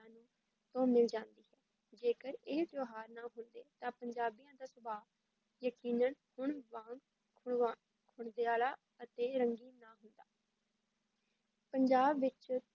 ਤੋਂ ਮਿਲ ਜਾਂਦੀ ਹੈ, ਜੇਕਰ ਇਹ ਤਿਉਹਾਰ ਨਾ ਹੁੰਦੇ ਤਾਂ ਪੰਜਾਬੀਆਂ ਦਾ ਸੁਭਾਅ ਯਕੀਨਨ ਹੁਣ ਵਾਂਗ ਅਤੇ ਰੰਗੀਨ ਨਾ ਹੁੰਦਾ ਪੰਜਾਬ ਵਿੱਚ